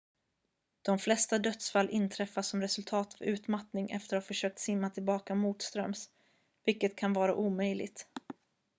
de flesta dödsfall inträffar som resultat av utmattning efter att ha försökt simma tillbaka motströms vilket kan vara omöjligt